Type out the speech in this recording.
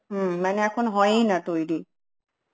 হম মানে এখন হয়েই না তৈরী